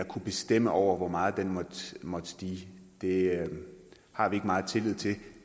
kunne bestemme over hvor meget den måtte stige det har vi ikke meget tillid til